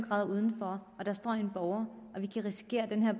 grader udenfor og der står en borger